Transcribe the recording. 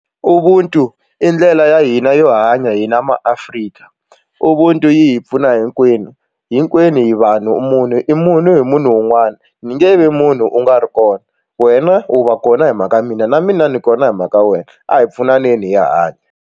Ubuntu i ndlela ya hina yo hanya hina maAfrika ubuntu yi hi pfuna hinkwenu hinkwenu hi vanhu munhu i munhu hi munhu un'wana ni nge vi munhu u nga ri kona wena u va kona hi mhaka ya mina na mina ni kona hi mhaka ya wena a hi pfuneni hi ya hanya.